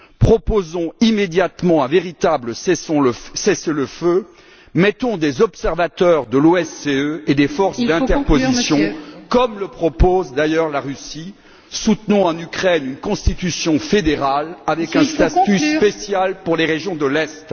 Proposons immédiatement un véritable cessez le feu, mettons des observateurs de l'OSCE et des forces d'interposition comme le propose d'ailleurs la Russie, soutenons en Ukraine une constitution fédérale avec un statut spécial pour les régions de l'Est.